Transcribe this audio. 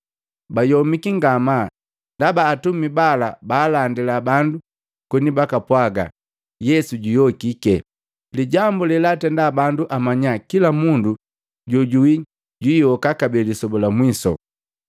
Bayomiki ngamaa, ndaba atumi bala baalandila bandu koni bakapwaga yesu juyokiki, lijambu lelaatenda bandu amanya kila mundu jojuwi jwiiyoka kabee lisoba lamwisu.